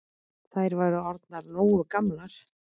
Þær væru orðnar nógu gamlar.